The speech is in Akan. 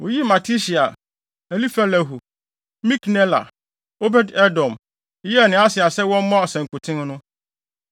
Woyii Matitia, Elifelehu, Miknela, Obed-Edom, Yeiel ne Asasia sɛ wɔmmɔ asankuten no.